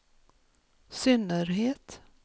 synnerhet